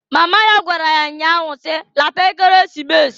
Mama ya gwara ya nya ahụ si, "Lata Ekeresimesi!"